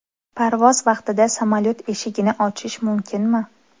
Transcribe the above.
Parvoz vaqtida samolyot eshigini ochish mumkinmi?.